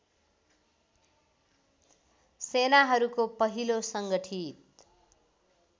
सेनाहरूको पहिलो सङ्गठित